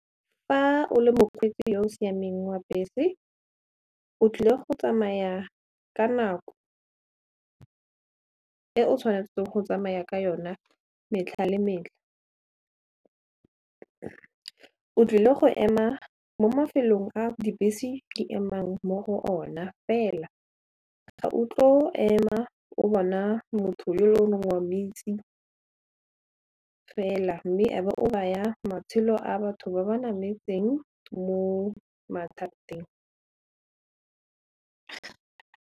Fa o le mokgweetsi yo o siameng wa bese o tlile go tsamaya ka nako e o tshwanetseng go tsamaya ka yona metlha le metlha, o tlile go ema mo mafelong a dibese di emang mo go ona fela ga o tlo ema o bona motho wa mo itse fela mme e be o baya matshelo a batho ba ba nametseng mo mathateng.